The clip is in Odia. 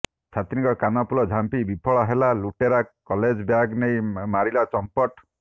ଛାତ୍ରୀଙ୍କ କାନଫୁଲ ଝାମ୍ପି ବିଫଳ ହେଲା ଲୁଟେରା କଲେଜ ବ୍ୟାଗ୍ ନେଇ ମାରିଲା ଚମ୍ପଟ